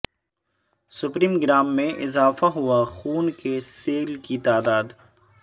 spermogram میں اضافہ ہوا خون کے سیل کی تعداد